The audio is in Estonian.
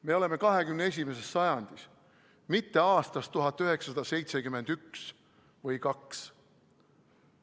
Me oleme 21. sajandis, mitte aastas 1971 või 1972.